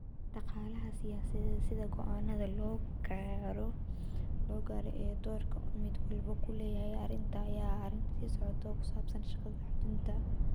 Dhaqaalaha siyaasadeed ee sida go'aannada loo gaaro, iyo doorka uu mid walba ku leeyahay arrintan, ayaa ah arrin sii socota oo ku saabsan shaqada xudunta u ah.